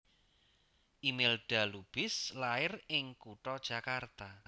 Imelda Lubis lair ing kutha Jakarta